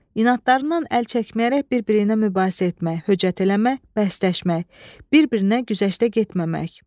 İnadlarından əl çəkməyərək bir-birinə mübahisə etmək, höcət eləmək, bəhsləşmək, bir-birinə güzəştə getməmək.